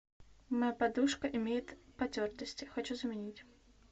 моя подушка имеет потертости хочу заменить